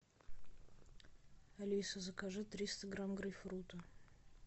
алиса закажи триста грамм грейпфрута